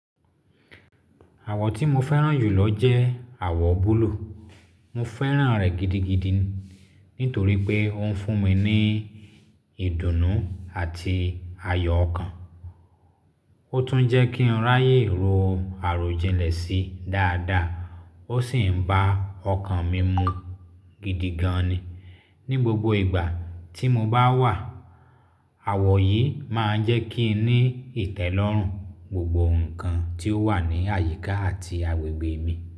Àwọ̀ tí mo fẹ́ràn jù lọ jẹ́ àwọ̀ búlúù. Mo fẹ́ràn rẹ̀ gidigidi nítorí pé ó ń fún mi ní ìdùnnú àti ayọ̀ ọkàn. Ó tún ń jẹ́ kí n ráyè ro àròjinlẹ̀ sí dáadáa, ó sì ń bá ọkàn mi mu gidigan ni. Ni gbogbo ìgbà tí mo bá wà, àwọ̀ yìí máa ń jẹ́ kí n ní ìtẹ́lọ́rùn gbogbo nǹkan tí ó wà ní àyíká àti agbègbè mi.